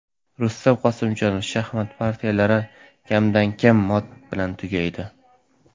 Rustam Qosimjonov: Shaxmat partiyalari kamdan-kam mot bilan tugaydi.